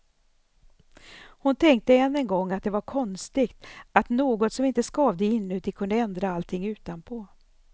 Hon tänkte än en gång att det var konstigt, att något som inte skavde inuti kunde ändra allting utanpå.